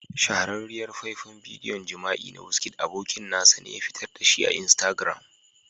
Shahararriyar faifan bidiyon jima'i na wizkid abokin nasa ne ya fitar da shi a Instagram.